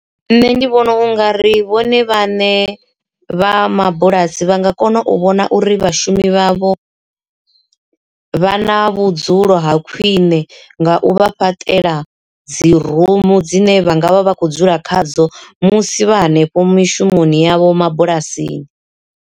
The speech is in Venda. Nṋe ndi vhona u nga ri vhone vhane vha mabulasi vha nga kona u vhona uri vhashumi vhavho vha na vhudzulo ha khwiṋe nga u vha fhaṱela dzi rumu dzine vha ngavha vha kho dzula khadzo musi vha hanefho mishumoni yavho mabulasini.